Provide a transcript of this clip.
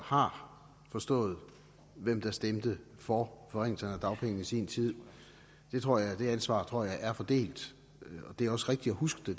har forstået hvem der stemte for forringelserne af dagpengene i sin tid det ansvar tror jeg er fordelt og det er også rigtigt at huske